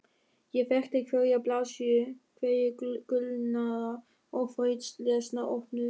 Ég þekkti hverja blaðsíðu, hverja gulnaða og þrautlesna opnu